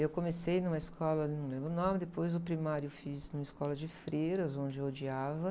Eu comecei numa escola, não lembro o nome, depois o primário eu fiz numa escola de freiras, onde eu odiava.